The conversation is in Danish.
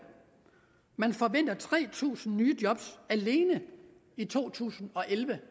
tre tusind nye job alene i to tusind og elleve